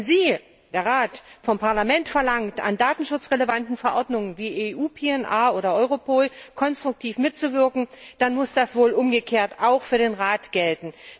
Wenn Sie, der Rat, vom Parlament verlangen, an datenschutzrelevanten Verordnungen wie EU PNA oder Europol konstruktiv mitzuwirken, dann muss das wohl umgekehrt auch für den Rat gelten.